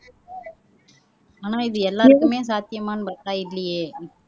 ஆனா இது எல்லாருக்குமே சாத்தியமான்னு பார்த்தா இல்லையே